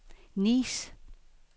Nice